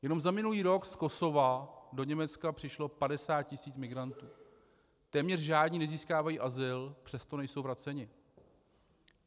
Jenom za minulý rok z Kosova do Německa přišlo 50 tisíc migrantů, téměř žádní nezískávají azyl, přesto nejsou vraceni.